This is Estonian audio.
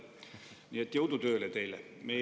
Nii et jõudu tööle teile!